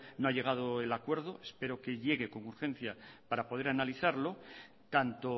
no se ha llegado al acuerdo espero que llegue con urgencia para poder analizarlo tanto